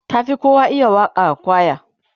ta Fi kowa iya Waka a kwaya